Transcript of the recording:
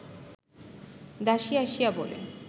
দাসী আসিয়া বলে